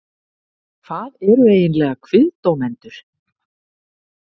Hvað eru eiginlega KVIÐDÓMENDUR?